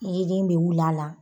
Yelen bɛ wili a la.